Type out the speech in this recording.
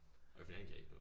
Øh fordi han kan ikke noget